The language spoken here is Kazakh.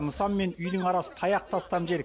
нысан мен үйдің арасы таяқ тастам жер